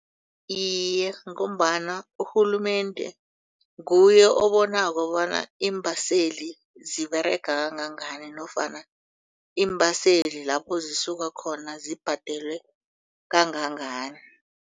Iye, ngombana urhulumende nguye obonako bona iimbaseli ziberega kangangani nofana iimbaseli lapho zisuka khona zibhadelwe kangangani.